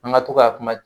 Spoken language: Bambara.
An ka to ka kuma